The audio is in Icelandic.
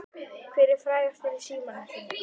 Hver er frægastur í símanum þínum?